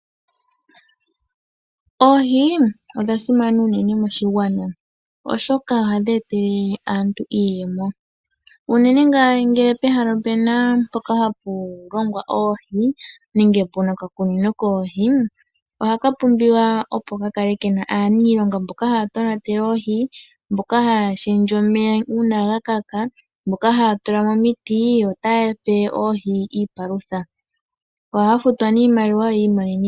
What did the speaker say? Oohi odha simana unene moshigwana, oshoka ohadhi etele aantu iiyemo. Unene ngele pehala opu na mpoka hapu longwa oohi nenge pu na okakunino koohi ohapu pumbwa pu kale pu na aaniilonga mboka haya tonatele oohi, mboka haya shendje omeya uuna ga kaka, mboka haya tula mo omiti yo otaya pe oohi iipalutha. Ohaya futwa nee iimaliwa.